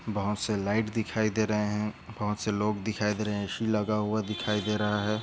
बहुत से लाइट दिखाई दे रहे है बहुत से लोग दिखाई दे रहे है ए.सी. लगा हुआ दिखाई दे रहा है।